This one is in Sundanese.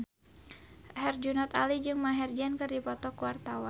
Herjunot Ali jeung Maher Zein keur dipoto ku wartawan